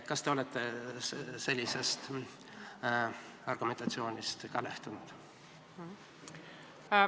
Kas te olete ka sellisest argumentatsioonist lähtunud?